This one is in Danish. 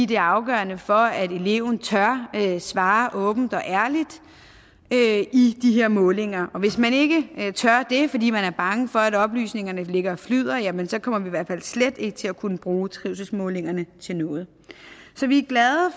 det er afgørende for at eleven tør svare åbent og ærligt i de her målinger og hvis man ikke tør det fordi man er bange for at oplysningerne ligger og flyder jamen så kommer vi i hvert fald slet ikke til at kunne bruge trivselsmålingerne til noget så vi er glade